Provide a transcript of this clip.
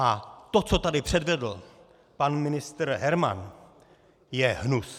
A to, co tady předvedl pan ministr Herman, je hnus!